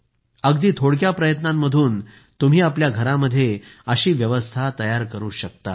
अगदी थोडक्या प्रयत्नांमधून तुम्ही आपल्या घरामध्ये अशी व्यवस्था तयार करू शकता